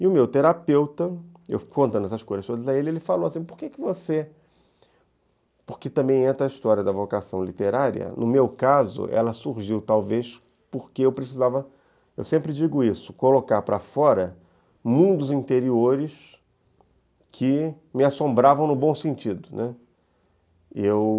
E o meu terapeuta, eu contando essas coisas todas a ele, ele falou assim, por que você... Porque também entra a história da vocação literária, no meu caso, ela surgiu talvez porque eu precisava, eu sempre digo isso, colocar para fora mundos interiores que me assombravam no bom sentido, né, eu